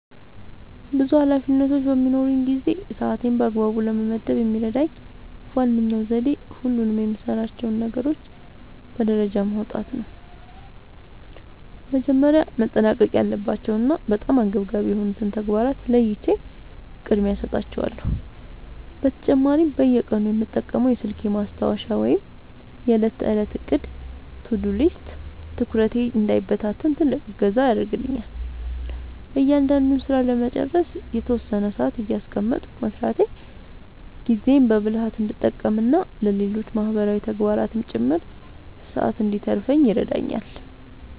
ብዙ ኃላፊነቶች በሚኖሩኝ ጊዜ ሰዓቴን በአግባቡ ለመመደብ የሚረዳኝ ዋነኛው ዘዴ ሁሉንም የምሠራቸውን ነገሮች በደረጃ ማውጣት ነው። መጀመሪያ ማጠናቀቅ ያለባቸውንና በጣም አንገብጋቢ የሆኑትን ተግባራት ለይቼ ቅድሚያ እሰጣቸዋለሁ። በተጨማሪም በየቀኑ የምጠቀመው የስልኬ ማስታወሻ ወይም የዕለት ተዕለት ዕቅድ (To-Do List) ትኩረቴ እንዳይበታተን ትልቅ እገዛ ያደርግልኛል። እያንዳንዱን ሥራ ለመጨረስ የተወሰነ ሰዓት እያስቀመጥኩ መሥራቴ ጊዜዬን በብልሃት እንድጠቀምና ለሌሎች ማህበራዊ ተግባራትም ጭምር ሰዓት እንድተርፈኝ ይረዳኛል።